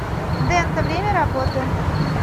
дента время работы